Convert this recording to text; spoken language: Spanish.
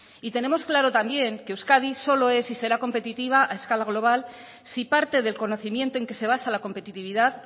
y tenemos claro también que euskadi solo es y será competitiva a escala global si parte del conocimiento en que se basa la competitividad